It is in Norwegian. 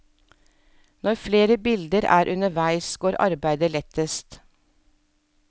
Når flere bilder er underveis, går arbeidet lettest.